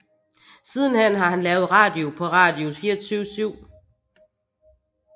Sidenhen har han lavet radio på Radio 24Syv